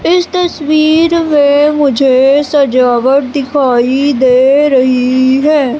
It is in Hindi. इस तस्वीर मे मुझे सजावट दिखाई दे रही है।